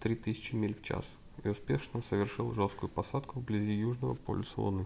3000 миль в час и успешно совершил жесткую посадку вблизи южного полюса луны